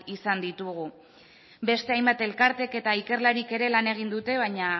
izan ditugu beste hainbat elkarteek eta ikerlarik ere lan egin dute baina